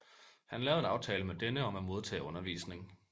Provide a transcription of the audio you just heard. Han lavede en aftale med denne om at modtage undervisning